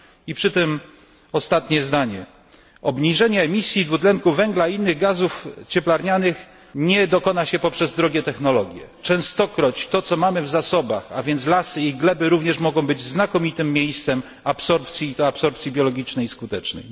I przy tym ostatnie zdanie obniżenie emisji dwutlenku węgla i innych gazów cieplarnianych nie dokona się poprzez drogie technologie. Częstokroć to, co mamy w zasobach, a więc lasy i gleby, również mogą być znakomitym miejscem absorpcji i to absorpcji biologicznej i skutecznej.